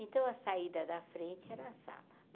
Então, a saída da frente era a sala.